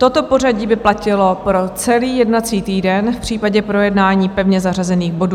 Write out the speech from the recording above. Toto pořadí by platilo pro celý jednací týden v případě projednání pevně zařazených bodů.